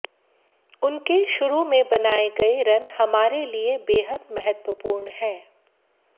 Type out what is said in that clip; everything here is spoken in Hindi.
उनके शुरू में बनाए गए रन हमारे लिए बेहद महत्वपूर्ण हैं